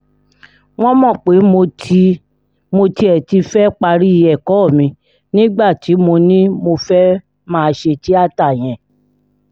wọ́n mọ̀ pé mo ti mo tiẹ̀ ti fẹ́ẹ́ parí ẹ̀kọ́ mi nígbà tí mo ní mo fẹ́ẹ́ máa ṣe tíátá yẹn